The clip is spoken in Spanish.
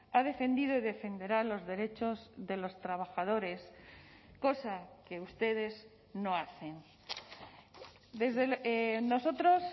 ha defendido y defenderá los derechos de los trabajadores cosa que ustedes no hacen nosotros